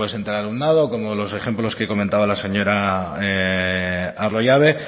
entre el alumnado como los ejemplos que he comentaba la señora arroyabe